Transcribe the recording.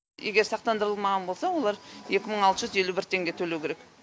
егер сақтандырылмаған болса олар екі мың алты жүз елу бір теңге төлеу керек